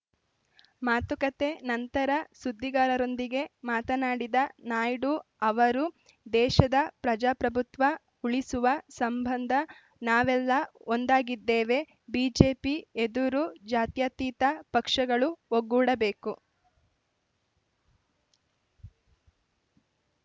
ಮಾತುಕತೆ ನಂತರ ಸುದ್ದಿಗಾರರೊಂದಿಗೆ ಮಾತನಾಡಿದ ನಾಯ್ಡು ಅವರು ದೇಶದ ಪ್ರಜಾಪ್ರಭುತ್ವ ಉಳಿಸುವ ಸಂಬಂಧ ನಾವೆಲ್ಲ ಒಂದಾಗಿದ್ದೇವೆ ಬಿಜೆಪಿ ಎದುರು ಜಾತ್ಯತೀತ ಪಕ್ಷಗಳು ಒಗ್ಗೂಡಬೇಕು